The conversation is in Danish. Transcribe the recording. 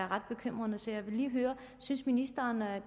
ret bekymrende så jeg vil lige høre synes ministeren